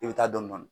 I bɛ taa dɔni dɔni